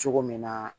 Cogo min na